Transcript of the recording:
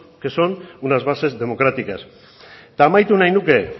que son unas bases democráticas eta amaitu nahi nuke